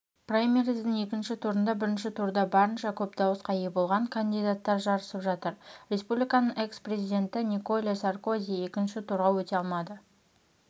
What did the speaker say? праймериздің екінші турында бірінші турда барынша көп дауысқа ие болған кандидаттар жарысып жатыр республиканың экс-президентіниколя саркози екінші турға өте алмады